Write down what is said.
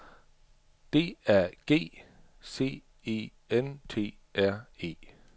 D A G C E N T R E